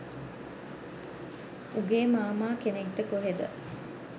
උගේ මාමා කෙනෙක්ද කොහෙද